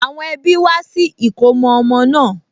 Àwọn ẹbí wá sí ìkómọ ọmọ náà